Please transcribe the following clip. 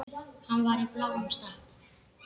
Hann var í bláum stakk.